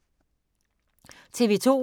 TV 2